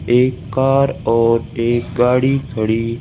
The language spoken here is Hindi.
एक कार और एक गाड़ी खड़ी--